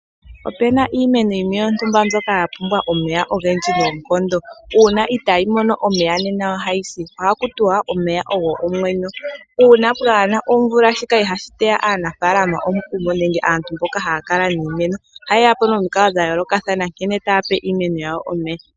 Opu na iimeno yontumba mbyoka ya pumbwa omeya ogendji noonkondo uuna itayi mono omeya nena ohayi si, ohaku tiwa anuwa omeya ogo omwenyo uuna kapu na omvula shika ihashi teya aanafalama omukumo nenge aantu mboka haya kala niimemo ohaye yapo nomikalo dha yoolokathana nkene taya pe iimeno yawo omeya.